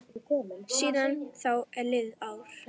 Síðan þá er liðið ár.